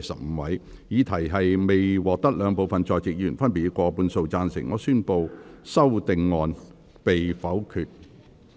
由於議題未獲得兩部分在席議員分別以過半數贊成，他於是宣布修訂議案被否決。